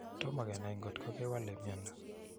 Toma kenai ngotko kewalei miondo